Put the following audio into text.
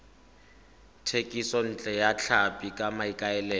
thekisontle ya tlhapi ka maikaelelo